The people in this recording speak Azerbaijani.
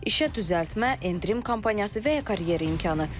İşə düzəltmə, endirim kampaniyası və ya karyera imkanı.